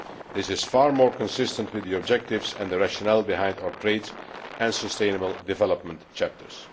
This is far more consistent with the objectives and the rationale behind our trade and sustainable development chapters.